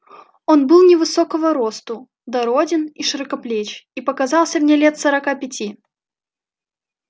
он был невысокого росту дороден и широкоплеч и показался мне лет сорока пяти